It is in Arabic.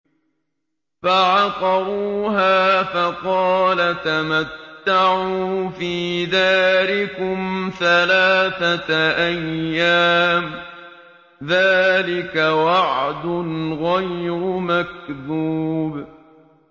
فَعَقَرُوهَا فَقَالَ تَمَتَّعُوا فِي دَارِكُمْ ثَلَاثَةَ أَيَّامٍ ۖ ذَٰلِكَ وَعْدٌ غَيْرُ مَكْذُوبٍ